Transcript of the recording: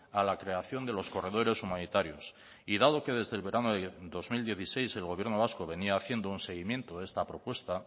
a la creación de los corredores humanitarios y dado que desde el verano de dos mil dieciséis el gobierno vasco venía haciendo un seguimiento de esta propuesta